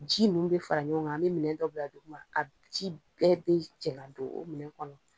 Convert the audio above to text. Ji nunu bɛ fara ɲɔgɔn kan, an bɛ minɛ dɔ bila duguma ka ji bɛɛ bɛ cɛ ka don o minɛ kɔnɔ.